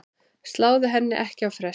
Sláðu henni ekki á frest.